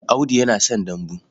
Audu yana son dambu.